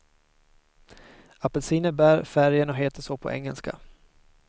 Apelsiner bär färgen och heter så på engelska.